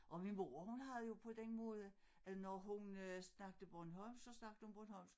Og min mor hun havde jo på den måde øh når hun øh snakkede bornholmsk så snakkede hun bornholmsk